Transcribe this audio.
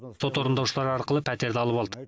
сот орындаушылары арқылы пәтерді алып алды